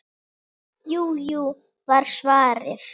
Jú, jú var svarið.